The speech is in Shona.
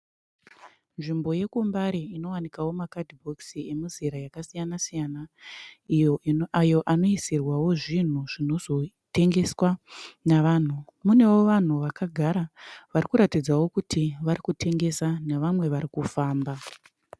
Nzvimbo yekuMbare inowanikwawo makadhibhokisi emizera yakasiyana siyana ayo anozoisirwa zvinhu zvinozotengeswa nevanhu. Munewo vanhu vakagara varikuratidzawo kuti varikutengesa nevamwe varikufamba.